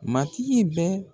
Matigi bɛ